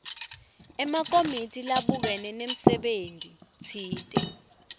emakomiti labukene nemsebentitsite